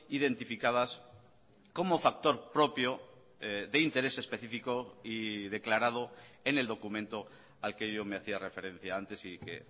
identificadas como factor propio de interés específico y declarado en el documento al que yo me hacía referencia antes y que